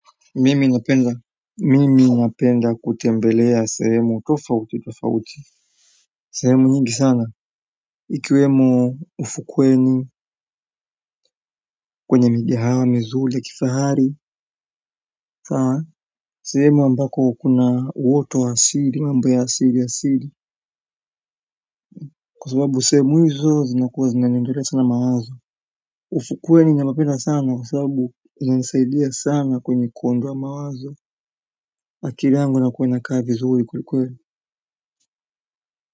Mimi napenda mimi napenda kutembelea sehemu tofauti tofauti sehemu nyingi sana ikiwemo ufukweni kwenye migahawa mizuri ya kifahari sehemu ambako kuna uoto wa asili mambo ya asili asili kwa sababu sehemu hizo zinakuwa zinaniondolea sana mawazo ufukweni napapenda sana kwa sababu inanisaidia sana kwenye kuonda mawazo akili yangu ina kuwa inaka vizuri kweli kweli.